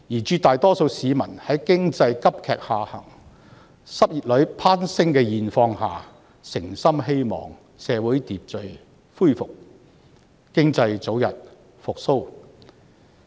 絕大多數市民在經濟急劇下行及失業率攀升的現況下，誠心希望社會秩序恢復，經濟早日復蘇。